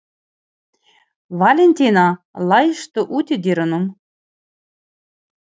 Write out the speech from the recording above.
Valentína, læstu útidyrunum.